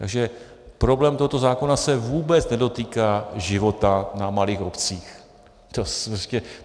Takže problém tohoto zákona se vůbec nedotýká života na malých obcích.